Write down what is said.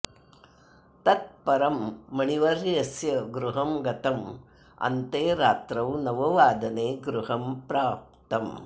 तत् परं मणिवर्यस्य गृहं गतम् अन्ते रात्रौ नववादने गृहं प्राप्तम्